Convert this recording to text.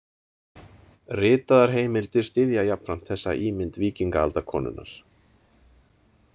Ritaðar heimildir styðja jafnframt þessa ímynd víkingaaldarkonunnar.